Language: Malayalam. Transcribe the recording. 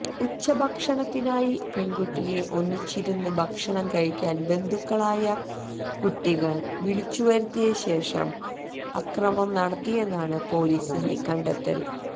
ഉച്ചഭക്ഷണത്തിനായി പെണ്കുട്ടിയെ ഒന്നിച്ചിരുന്ന് ഭക്ഷണം കഴിക്കാന് ബന്ധുക്കളായ കുട്ടികള് വിളിച്ചുവരുത്തിയ ശേഷം അക്രമം നടത്തിയെന്നാണ് പോലീസിന്റെ കണ്ടെത്തല്